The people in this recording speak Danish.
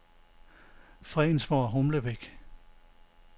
Fredensborg-Humlebæk